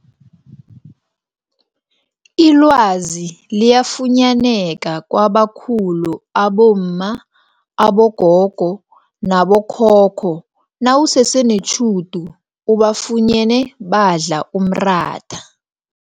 Ilwazi liyafunyaneka kwabakhulu abomma, abogogo nabo khokho nawusese netjhudu ubafunyene badla umratha.